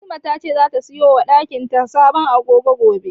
Fatima tace zata siyo wa dakin ta sabon agogo gobe.